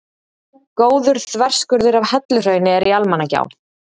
Góður þverskurður af helluhrauni er í Almannagjá.